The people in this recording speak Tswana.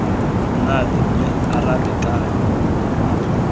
monate mme a arabe ka